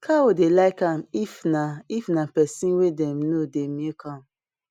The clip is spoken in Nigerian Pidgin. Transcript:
cow dey like am if na if na pesin wey dem know dey milk am